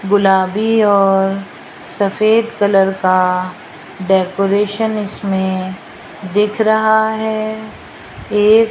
गुलाबी और सफेद कलर का डेकोरेशन इसमें दिख रहा है एक --